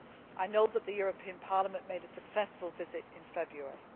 I know that the European Parliament made a successful visit in February.